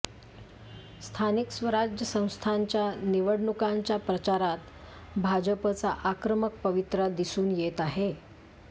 स्थानिक स्वराज्य संस्थांच्या निवडणुकांच्या प्रचारात भाजपचा आक्रमक पवित्रा दिसून येत आहे